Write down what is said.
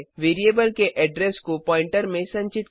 variable के address को pointer pointer में संचित करें